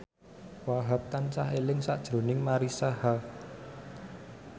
Wahhab tansah eling sakjroning Marisa Haque